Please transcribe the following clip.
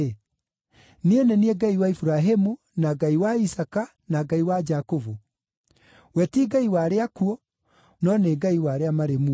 ‘Niĩ nĩ niĩ Ngai wa Iburahĩmu, na Ngai wa Isaaka, na Ngai wa Jakubu?’ We ti Ngai wa arĩa akuũ, no nĩ Ngai wa arĩa marĩ muoyo.”